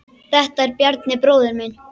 Þetta er Bjarni, bróðir minn.